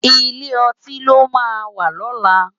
Ilé òtín lò má wà lòlá